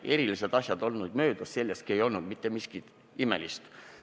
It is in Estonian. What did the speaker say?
Erilised asjad olnud möödas, selleski ei olnud mitte miskit imelist.